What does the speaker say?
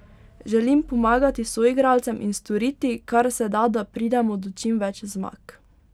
Želim pomagati soigralcem in storiti, kar se da, da pridemo do čim več zmag.